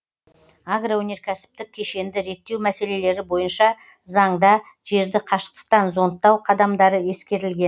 агроөнеркәсіптік кешенді реттеу мәселелері бойынша заңда жерді қашықтықтан зондтау қадамдары ескерілген